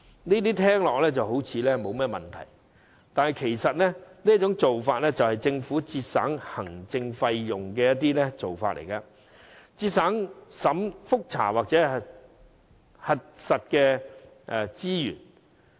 這聽來沒有甚麼問題，但其實這做法是政府為節省行政費用的手法，旨在節省覆查或核實的資源。